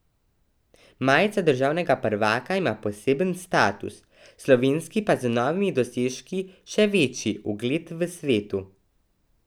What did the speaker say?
Majica državnega prvaka ima poseben status, slovenski pa z novimi dosežki še večji ugled v svetu.